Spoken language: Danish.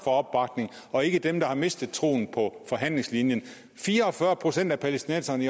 opbakning og ikke dem der har mistet troen på forhandlingslinjen fire og fyrre procent af palæstinenserne